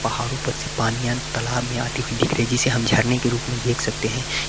पहाड़ों पर से पानिया तालाब में आती हुई दिख रही जिसे हम झरने के रूप में देख सकते हैं।